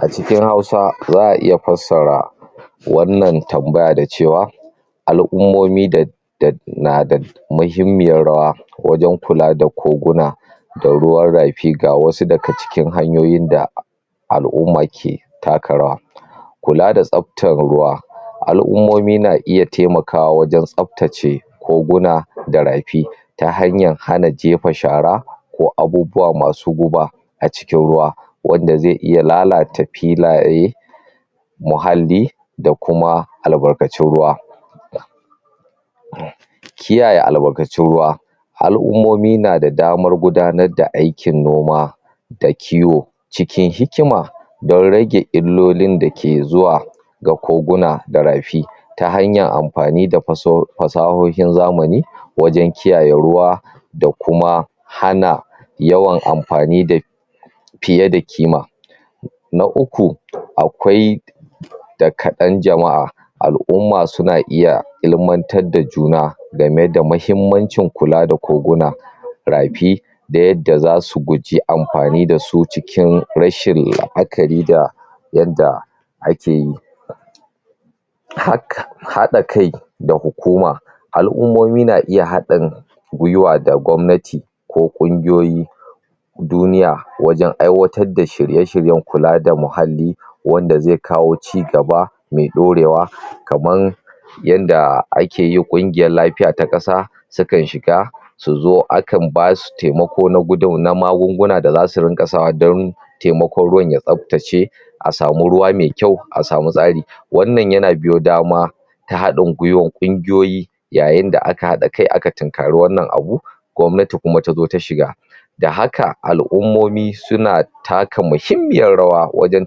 A cikin Hausa, za a iya fassara wannan tambaya da cewa al'ummomi na da muhimmiyar rawa wajen kula da koguna da ruwan rafi. Ga wasu daga cikin hanyoyin da al'umma ke taka rawa kula da tsaftar ruwa Al'ummomi na iya taimakawa wajen tsaftace koguna da rafi ta hanyar hana jefa shara ko abubuwa masu guba a cikin ruwa wanda zai iya lalata filaye muhalli da kuma albarkacin ruwa Kiyaye albarkacin ruwa Al'ummomi na da damar gudanar da aikin noma da kiwo cikin hikima don rage illolin da ke zuwa ga koguna da rafi ta hanyar amfani da fasahohin zamani wajen kiyaye ruwa da kuma hana yawan amfani da fiye da kima Na uku, akwai da kaɗan jama'a, al'umma suna iya ilimantar da juna gane da muhimmancin kula da koguna rafi da yadda za su guji amfani da su cikin rashin la'akari da yanda ake yi. Haɗa kai da hukuma: Al'ummomi na iya haɗin gwiwa da gwamnati ko ƙungiyoyi duniya wajen aiwatar da shirye-shiryen kula da muhalli wanda zai kawo cigaba mai ɗorewa, kaman yadda ake yin ƙungiyar lafiya ta ƙasa saukan shiga su zo a kan ba su taimako na magunguna da za su ringa sawa don taimako ruwan ya tsaftace a samu ruwa mai kyau, a samu tsari Wannan yana biyo dama ta haɗin gwiwar ƙungiyoyi yayin da aka haɗa kai aka tinkari wannan abu gwamnati kuma ta zo ta shiga da haka, al'ummomi suna taka muhimmiyar rawa wajen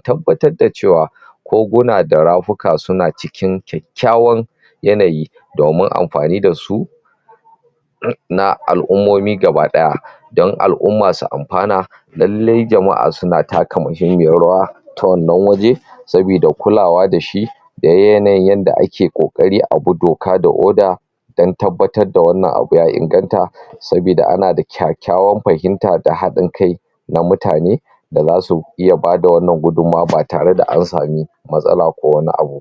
tabbatar da cewa koguna da ramuka suna cikin kyakkyawan yanayi domin amfani da su na al'ummomi gaba ɗaya don al'umma su amfana Lalle jama'a suna taka muhimmiyar rawa ta wannan waje saboda kulawa da shi da yanayin yadda ake ƙoƙari a bi doka da oda do tabbatar da wannan abu ya inganta saboda ana da kyakkyawan fahimta da haɗin kai na mutane da za su iya ba da wannan gudunmawa ba tare da an sami matsala ko wani abu